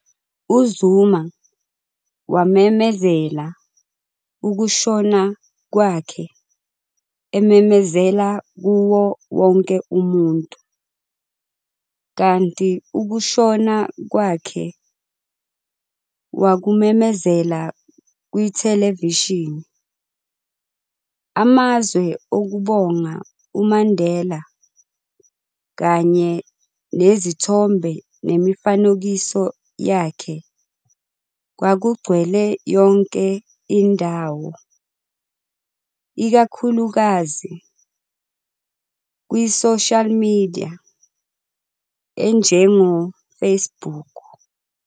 UZuma wamemezela ukushona kwakhe ememezela kuwo wonke umuntu, kanti ukushona kwakhe wakumemezela kwithelevishini. Amazwe okubonga uMandela kanye nezithombe nemifanekiso yakhe, kwakugcwele yonke indawo, ikakhulukazi kwi-social media enjengo-Facebook.